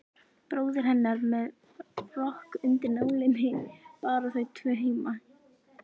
Bróðir hennar með rokk undir nálinni, bara þau tvö heima.